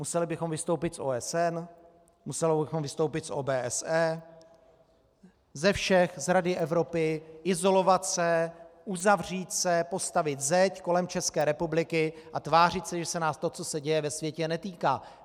Museli bychom vystoupit z OSN, museli bychom vystoupit z OBSE, ze všech - z Rady Evropy, izolovat se, uzavřít se, postavit zeď kolem České republiky a tvářit se, že se nás to, co se děje ve světě, netýká.